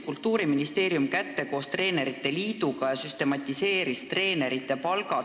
Kultuuriministeerium võttis koos treenerite liiduga kätte ja süstematiseeris treenerite palgad.